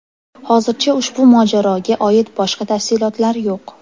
Hozircha ushbu mojaroga oid boshqa tafsilotlar yo‘q.